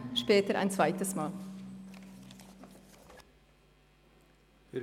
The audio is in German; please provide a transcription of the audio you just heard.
Ich trete später noch ein zweites Mal ans Rednerpult.